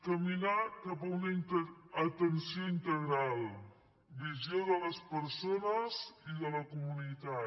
caminar cap a una atenció integral visió de les persones i de la comunitat